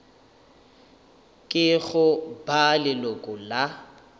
ke go ba leloko la